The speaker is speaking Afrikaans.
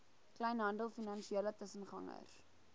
kleinhandel finansiële tussengangers